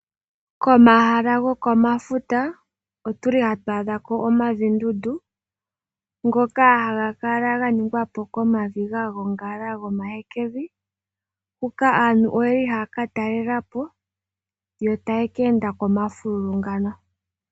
Komahala gokomafuta otuli hatu adhako omavindundu ngoka haga kala ga ningwapo komavi ga gongala gomahekevi. Huka aantu oyeli haya katalelapo yo taye keenda komafululu ngano.